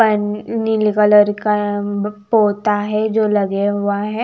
पन नीले कलर का पोता है जो लगे हुआ है।